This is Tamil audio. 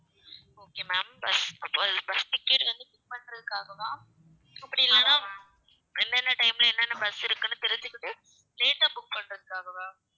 okay ma'ambus bus ticket book பண்றதுக்காகவா அப்படி இல்லைன்னா எந்தெந்த time ல என்னென்ன bus இருக்குன்னு தெரிஞ்சுக்கிட்டு late ஆ book பண்றதுக்காகவா